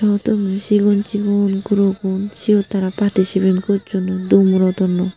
chigon chigon gurogun syot tara patticipet gossonoi dumrodonnoi.